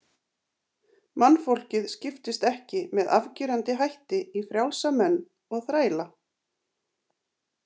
Mannfólkið skiptist ekki með afgerandi hætti í frjálsa menn og þræla.